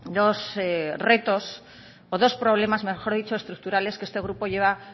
dos retos o dos problemas mejor dicho estructurales que este grupo lleva